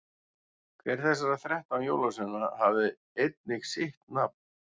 hver þessara þrettán jólasveina hafði einnig sitt nafn